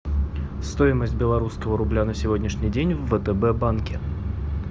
стоимость белорусского рубля на сегодняшний день в втб банке